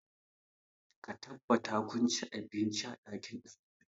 Ka tabbata kun ci abinci a ɗakin ɗalibai!